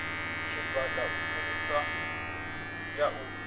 tshigwada u fhirisa u ya